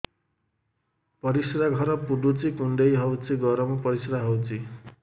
ପରିସ୍ରା ଘର ପୁଡୁଚି କୁଣ୍ଡେଇ ହଉଚି ଗରମ ପରିସ୍ରା ହଉଚି